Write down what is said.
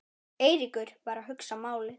Eiríkur var að hugsa málið.